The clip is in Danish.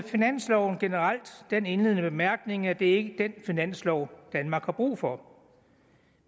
finansloven generelt den indledende bemærkning at det ikke er den finanslov danmark har brug for